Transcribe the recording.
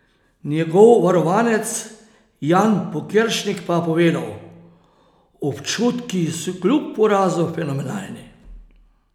Njegov varovanec Jan Pokeršnik pa je povedal: "Občutki so kljub porazu fenomenalni.